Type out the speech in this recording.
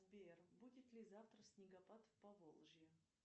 сбер будет ли завтра снегопад в поволжье